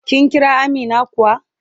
Kin Kira Amina kuwa?